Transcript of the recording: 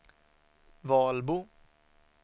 Valbo